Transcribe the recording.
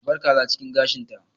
A bar kaza cikin gashinta!